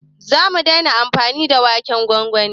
zamu daina amfani da waken gwangwani